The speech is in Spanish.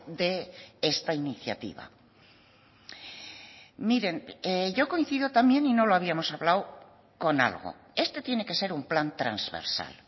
de esta iniciativa miren yo coincido también y no lo habíamos hablado con algo este tiene que ser un plan transversal